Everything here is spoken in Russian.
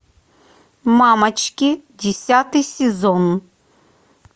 мамочки десятый сезон